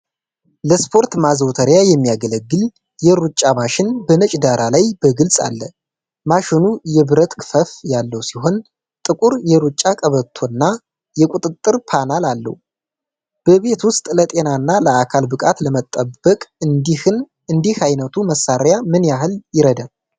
ለስፖርት ማዘውተሪያ የሚያገለግል የሩጫ ማሽን በነጭ ዳራ ላይ በግልፅ አለ። ማሽኑ የብረት ክፈፍ ያለው ሲሆን፣ ጥቁር የሩጫ ቀበቶና የቁጥጥር ፓናል አለው። በቤት ውስጥ ለጤናና ለአካል ብቃት ለመጠበቅ እንዲህ ዓይነቱ መሣሪያ ምን ያህል ይረዳል?